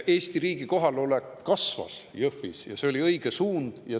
Eesti riigi kohalolek kasvas Jõhvis ja see oli õige suund.